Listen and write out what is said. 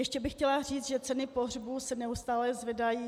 Ještě bych chtěla říci, že ceny pohřbů se neustále zvedají.